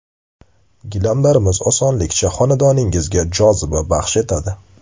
Gilamlarimiz osonlikcha xonadoninggizga joziba baxsh etadi.